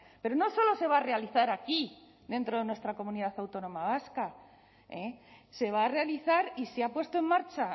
pero no solo se va a realizar aquí dentro de nuestra comunidad autónoma vasca se va a realizar y se ha puesto en marcha